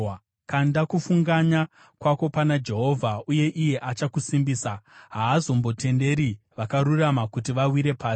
Kanda kufunganya kwako pana Jehovha uye iye achakusimbisa; haazombotenderi vakarurama kuti vawire pasi.